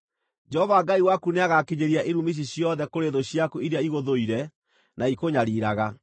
Jehova Ngai waku nĩagakinyĩria irumi ici ciothe kũrĩ thũ ciaku iria igũthũire na ikũnyariiraga.